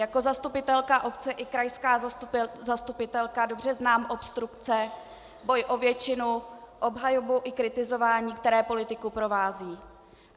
Jako zastupitelka obce i krajská zastupitelka dobře znám obstrukce, boj o většinu, obhajobu i kritizování, které politiku provází.